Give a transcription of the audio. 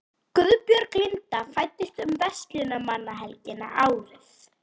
Guðbjörg Linda fæddist um verslunarmannahelgina árið